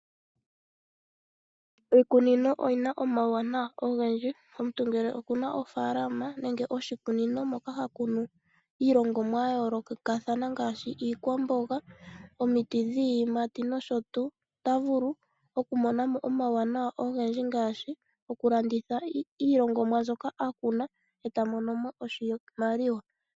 Iikunino oyina omauwanawa ogendji. Omuntu ngele okuna ofaalama nenge oshikunino moka hakunu iilongomwa yayoolokathana ngaashi iikwamboga , omiti dhiiyimati noshotuu, ota vulu okumonamo omauwanawa ogendji ngaashi okulanditha iilongomwa mbyoka akuna etamono mo oshimaliwa.